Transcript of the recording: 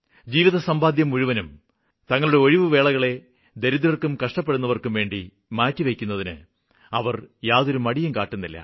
ജീവിതസമ്പാദ്യം മുഴുവനും തങ്ങളുടെ ഒഴിവ് വേളകളെ ദരിദ്രര്ക്കും കഷ്ടപ്പെടുന്നവര്ക്കുംവേണ്ടി മാറ്റിവയ്ക്കുന്നതിന് അവര് യാതൊരുമടിയും കാട്ടുന്നില്ല